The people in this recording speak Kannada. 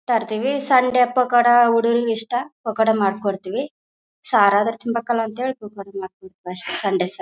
ತರ್ತಿವಿ ಸಂಡೆ ಪಕೋಡ ಹುಡುಗ್ರಿಗೆ ಇಷ್ಟ ಪಕೋಡ ಮಾಡಿ ಕೊಡ್ತಿವಿ. ಸಾರ್ ಆದ್ರೂ ತಿನ್ಬೇಕಲ್ಲ ಅಂತ ಪಕೋಡ ಮಾಡ್ ಕೊಡ್ತಿವಿ ಅಷ್ಟೇ ಸಂಡೆ ಸರ್